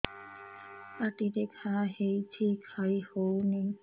ପାଟିରେ ଘା ହେଇଛି ଖାଇ ହଉନି